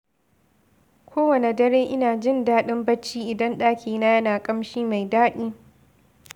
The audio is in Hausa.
Kowane dare, ina jin daɗin bacci idan ɗakina yana ƙamshi mai daɗi.